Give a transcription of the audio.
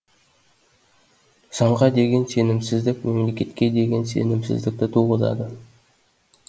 заңға деген сенімсіздік мемлекетке деген сенімсіздікті туғызады